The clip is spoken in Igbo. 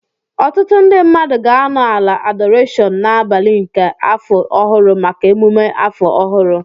Ọtụtụ ndị mmadụ ga-anọ ala adorashon n'abalị nke afọ ọhụrụ maka emume afọ ọhụrụ